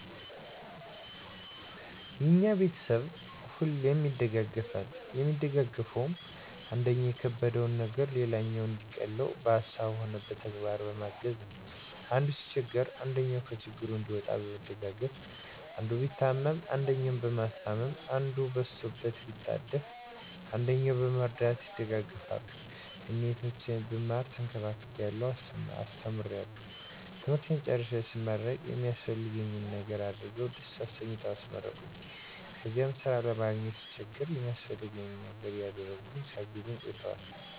የኛ ቤተሰብ ሁሌም ይደጋገፋል የሚደጋገፈዉም, አንደኛዉ የከበደዉን ነገር ሌላኛዉ እንዲቀለዉ በሀሳብም ሆነ በተግባር በማገዝ፣ አንዱ ሲቸገር አንደኛዉ ከችግሩ እንዲወጣ በመደጋገፍ፣ አንዱ ቢታመም አንደኛዉ በማስታመም፣ አንዱ በስቶበት ቢጣደፍ አንደኛዉ በመርዳት ይደጋገፋሉ። እኔ "እህቶቼ ብማር ተንከባክበዉ አስተምረዉ ትምህርቴን ጨርሴ ስመረቅ የሚያስፈልገኝን ነገር አድርገዉ ደስ አሰኝተዉ አስመረቁኝ"ከዚያ ስራ ለማግኘት ስቸገር የሚያስፈልገኝን ነገር እያደረጉ ሲያግዙኝ ቆይተዋል።